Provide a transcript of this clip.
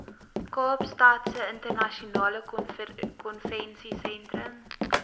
kaapstadse internasionale konvensiesentrum